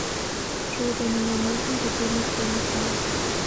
джой для меня нужен будильник в семь утра